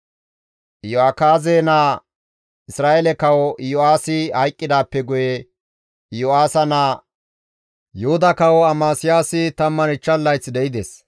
Iyo7akaaze naa, Isra7eele Kawo Iyo7aasi hayqqidaappe guye Iyo7aasa naa Yuhuda Kawo Amasiyaasi 15 layth de7ides.